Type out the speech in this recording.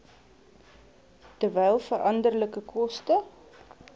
terwyl veranderlike koste